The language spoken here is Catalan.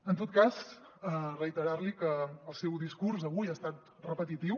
en tot cas reiterar li que el seu discurs avui ha estat repetitiu